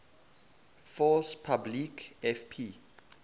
force publique fp